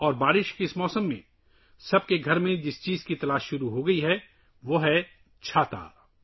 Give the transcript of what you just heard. اور برسات کے اس موسم میں جس چیز کو ہر کوئی اپنے گھر میں تلاش کرنے لگا ہے وہ ہے ‘چھتری’